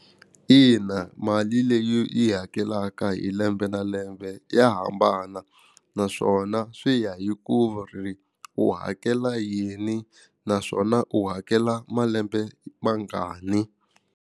Ina mali leyi yi hakelaka hi lembe na lembe ya hambana naswona swi ya hi ku ri u hakela yini naswona u hakela malembe mangani.